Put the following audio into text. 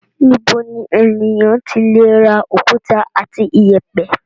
Níbo ni ènìyàn ti le ra òkúta àti ìyẹ̀pẹ̀?